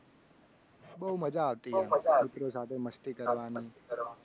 બહુ મજા આવે છે. મિત્રો સાથે મસ્તી કરવાનું